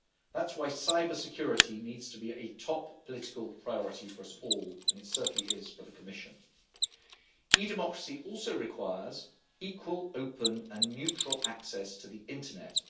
That is why cyber security needs to be a top political priority for us all, and it certainly is for the Commission. E Democracy also requires equal, open and neutral access to the internet.